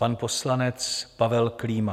Pan poslanec Pavel Klíma.